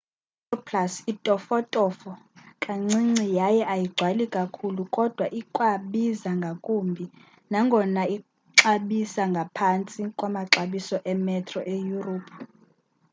i-metroplus itofotofo kancinci yaye ayigcwali kakhulu kodwa ikwabiza ngakumbi nangona ixabisa ngaphantsi kwamaxabiso emetro eyurophu